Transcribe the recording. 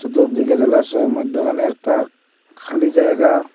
চতুর্দিকে জলাশয় মধ্যেখানে একটা খালি জায়গা।